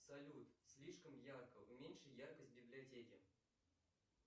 салют слишком ярко уменьши яркость в библиотеке